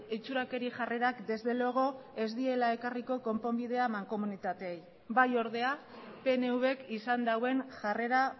itxurakeri jarrerak desde luego ez diela ekarriko konponbidea mankomunitateei bai ordea pnvk izan duen jarrera